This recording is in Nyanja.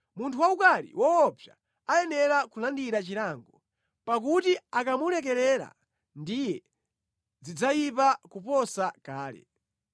Munthu waukali woopsa ayenera kulandira chilango; pakuti akamulekelera ndiye zidzayipa kuposa kale.